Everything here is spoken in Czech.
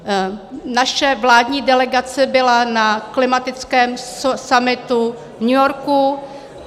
Naše vládní delegace byla na klimatickém summitu v New Yorku.